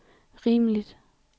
rimeligt